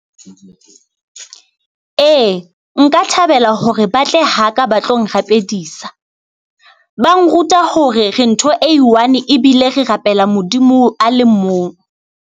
Ee, nka thabela hore ba tle haka ba tlo nrapedisa, ba nruta hore re ntho e one-e ebile re rapela Modimo a le mong.